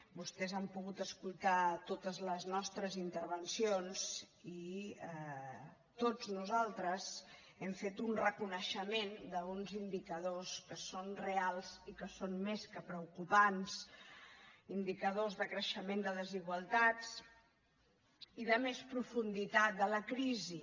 vostès han pogut escoltar totes les nostres intervencions i tots nosaltres hem fet un reconeixement d’uns indicadors que són reals i que són més que preocupants indicadors de creixement de desigualtats i de més profunditat de la crisi